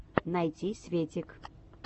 найти светик